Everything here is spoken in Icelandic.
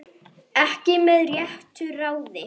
Ekki með réttu ráði?